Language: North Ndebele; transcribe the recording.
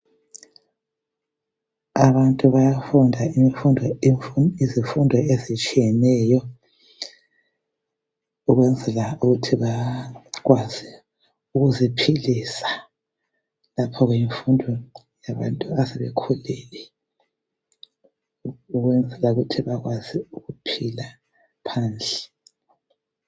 Abantu bayafunda izifundo ezitshiyeneyo ukwenzela ukuthi bakwazi ukuziphilisa. Lapho ke yimfundo yabantu asebekhulile ukwenzela ukuthi bakwazi ukuphila phandle.